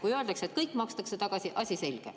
Kui öeldakse, et kõik makstakse tagasi – asi selge.